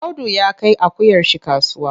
Audu ya kai akuyar shi kasuwa.